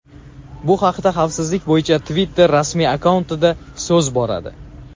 Bu haqda xavfsizlik bo‘yicha Twitter rasmiy akkauntida so‘z boradi.